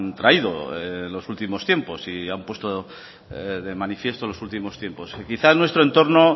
traído en los últimos tiempos y han puesto de manifiesto los últimos tiempos quizá nuestro entorno